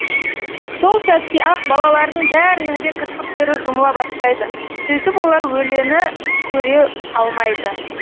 сол сәтте ақ балалардың бәрінің де кірпіктері жұмыла бастайды сөйтіп олар олені көре алмайды